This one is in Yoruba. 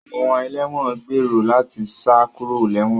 Àwọn ẹlẹ́wọ̀n ń gbèrò láti sá kúrò léwọ̀n